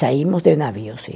Saímos de navio, sim.